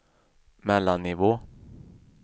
mellannivå